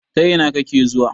Ta ina kake zuwa?